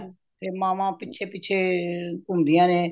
ਤੇ ਮਾਵਾਂ ਪਿਛੇ ਪਿਛੇ ਘੁੰਮਦੀਆਂ ਨੇ